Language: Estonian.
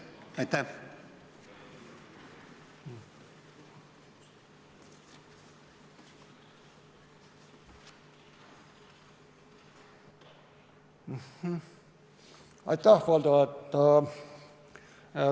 Aitäh, Valdo!